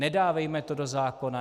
Nedávejme to do zákona!